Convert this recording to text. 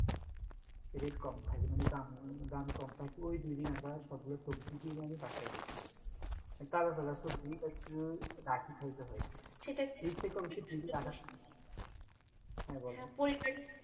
rate কম থাকে মানে দাম, দাম কম থাকে ওই দুদিনে আমরা সবগুলা সবজি কিনে এনে বাসায় রাখি মানে তাজা তাজা সবজি রাখি খাইতে হয়। শীত তো fridge এ রাখার হ্যাঁ বলেন